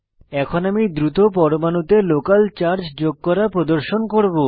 এখন আমি দ্রুত পরমাণুতে লোকাল চার্জ যোগ করা প্রদর্শন করব